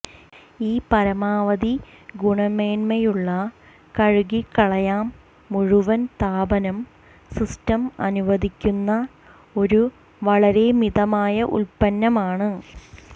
ഈ പരമാവധി ഗുണമേന്മയുള്ള കഴുകിക്കളയാം മുഴുവൻ താപനം സിസ്റ്റം അനുവദിക്കുന്ന ഒരു വളരെ മിതമായ ഉൽപ്പന്നമാണ്